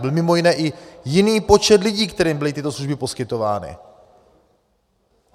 Byl mimo jiné i jiný počet lidí, kterým byly tyto služby poskytovány.